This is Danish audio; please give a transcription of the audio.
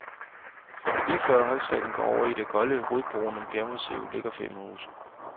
Lige før højsletten går over i det golde rødbrune bjergmassiv ligger fem huse.